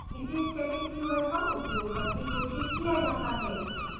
इसे static keyword का उपयोग करके घोषित किया जाता है